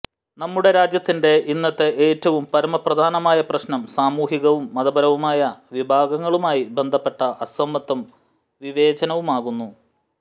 നമ്മുടെ രാജ്യത്തിന്റെ ഇന്നത്തെ ഏറ്റവും പരമപ്രധാനമായ പ്രശ്നം സാമൂഹികവും മതപരവുമായ വിഭാഗങ്ങളുമായി ബന്ധപ്പെട്ട അസമത്വവും വിവേചനവുമാകുന്നു